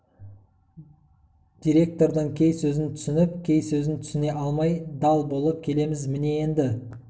деректірдің кей сөзін түсініп кей сөзін түсіне алмай дал болып келеміз міне енді